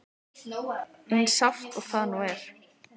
Eins sárt og það nú er.